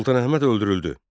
Sultan Əhməd öldürüldü.